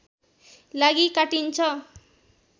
लागि काटिन्छ